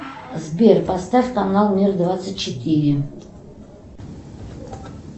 сбер поставь канал мир двадцать четыре